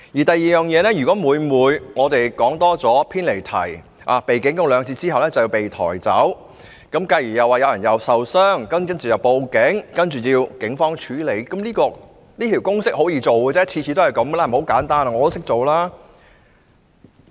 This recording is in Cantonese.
第二，如果每每只因為我們多說了幾句，或偏離議題，被主席警告兩次後，便要被抬走，繼而說有人受傷，又要報警請警方處理，跟這公式行事十分容易，每次都是這樣，十分簡單，我都識做。